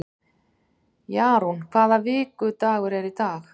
Jarún, hvaða vikudagur er í dag?